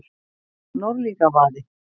Norðlingavaði